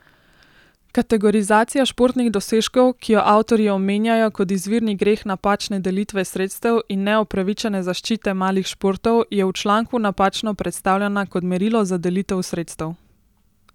Kategorizacija športnih dosežkov, ki jo avtorji omenjajo kot izvirni greh napačne delitve sredstev in neopravičene zaščite malih športov, je v članku napačno predstavljena kot merilo za delitev sredstev.